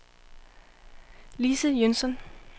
Lise Jønsson